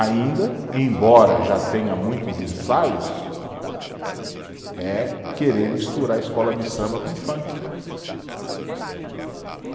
Ainda, embora já tenha muitos ensaios, é querer misturar escola de samba com funk.